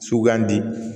Sugandi